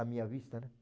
A minha vista, né?